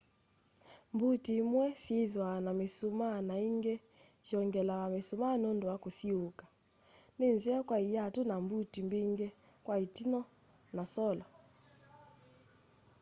mbuti imwe syithwaa na misumaa na ingi syongelawa misumaa nundu wa kusiuuka ni nzeo kwa iatu na mbuti mbingi kwa itiinyo na solo